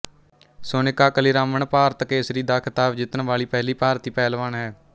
ਸੋਨਿਕਾ ਕਲੀਰਾਮਨ ਭਾਰਤ ਕੇਸਰੀ ਦਾ ਖਿਤਾਬ ਜਿੱਤਣ ਵਾਲੀ ਪਹਿਲੀ ਭਾਰਤੀ ਪਹਿਲਵਾਨ ਹੈ